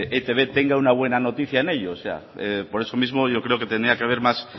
etb tenga una buena noticia en ellos por eso mismo yo creo que tenía que haber más